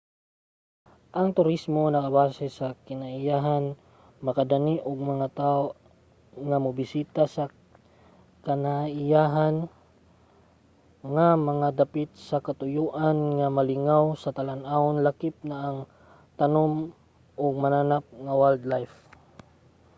ang turismo nga nakabase sa kinaiyahan makadani og mga tawo nga mobisita sa kinaiyahan nga mga dapit sa katuyoan nga malingaw sa talan-awon lakip na ang tanom ug mananap nga wildlife